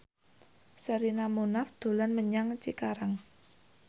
Sherina Munaf dolan menyang Cikarang